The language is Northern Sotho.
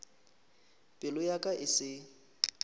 pelo ya ka e se